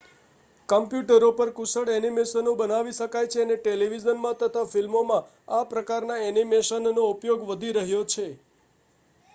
કમ્પ્યુટરો પર કુશળ ઍનિમેશનો બનાવી શકાય છે અને ટેલિવિઝનમાં તથા ફિલ્મોમાં આ પ્રકારના ઍનિમેશનનો ઉપયોગ વધી રહ્યો છે